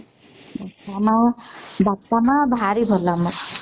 ଆମ ବାପା ମା ଭାରି ଭଲ ଆମର